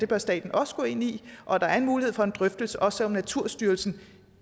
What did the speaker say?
bør staten også gå ind i og at der er en mulighed for en drøftelse også selv om naturstyrelsen